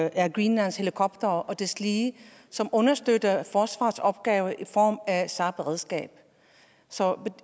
og air greenlands helikoptere og deslige som understøtter forsvarsopgaven i form af sar beredskabet så